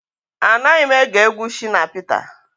Anaghị m ege egwu Shina Peter